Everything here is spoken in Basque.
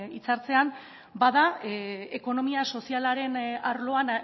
hitzartzean bada ekonomia sozialaren arloan